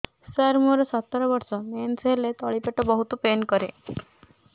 ସାର ମୋର ସତର ବର୍ଷ ମେନ୍ସେସ ହେଲେ ତଳି ପେଟ ବହୁତ ପେନ୍ କରେ